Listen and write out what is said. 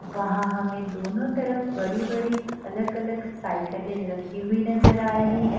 वहाँ हमे दोनों तरफ बड़ी-बड़ी अलग-अलग साइकलें रखी हुई नजर आ रही है।